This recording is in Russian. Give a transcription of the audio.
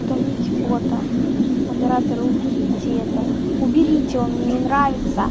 удалить бота модератора уберите это уберите он мне не нравится